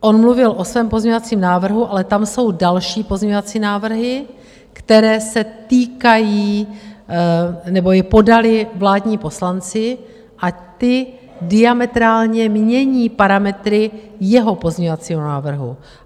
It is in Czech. On mluvil o svém pozměňovacím návrhu, ale tam jsou další pozměňovací návrhy, které se týkají nebo je podali vládní poslanci, a ty diametrálně mění parametry jeho pozměňovacího návrhu.